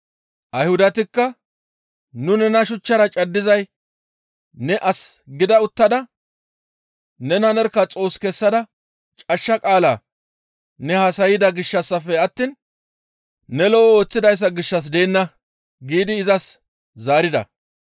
Ayhudatikka, «Nu nena shuchchara caddizay ne as gida uttada nena nerkka Xoos kessada cashsha qaala ne haasayda gishshassafe attiin ne lo7o ooththidayssa gishshas deenna» giidi izas zaarida.